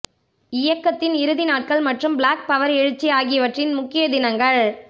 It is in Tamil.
இயக்கத்தின் இறுதி நாட்கள் மற்றும் பிளாக் பவர் எழுச்சி ஆகியவற்றின் முக்கிய தினங்கள்